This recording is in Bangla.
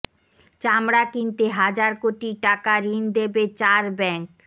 চামড়া কিনতে হাজার কোটি টাকা ঋণ দেবে চার ব্যাংক